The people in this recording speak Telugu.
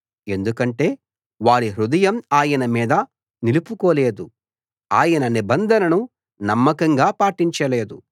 ఎందుకంటే వారి హృదయం ఆయన మీద నిలుపుకోలేదు ఆయన నిబంధనను నమ్మకంగా పాటించలేదు